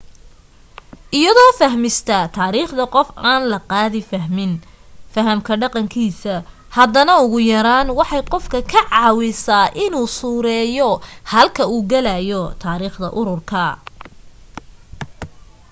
iyadoo fahmista taariikhda qof aan loo qaadin fahamka dhaqankiisa haddana ugu yaraan waxay qofka ka caawisaa inuu suureeyo halka u gelaayo taariikhda ururka